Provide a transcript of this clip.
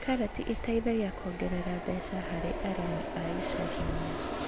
Karati iteithagia kuongerera mbeca harĩ arĩmi a icagi-inĩ